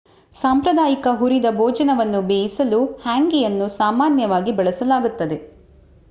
ಸಾಂಪ್ರದಾಯಿಕ ಹುರಿದ ಭೋಜನವನ್ನು ಬೇಯಿಸಲು ಹ್ಯಾಂಗಿಯನ್ನು ಸಾಮಾನ್ಯವಾಗಿ ಬಳಸಲಾಗುತ್ತದೆ